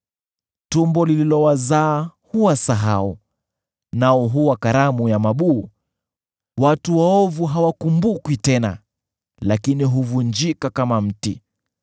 Tumbo lililowazaa huwasahau, nao huwa karamu ya mabuu; watu waovu hawakumbukwi tena, lakini huvunjika kama mti.